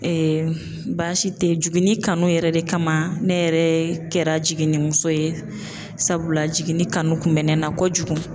baasi tɛ jiginni kanu yɛrɛ de kama ne yɛrɛ kɛra jiginnimuso ye sabula jiginni kanu kun bɛ ne na kojugu.